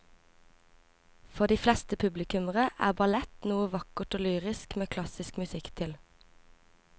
For de fleste publikummere er ballett noe vakkert og lyrisk med klassisk musikk til.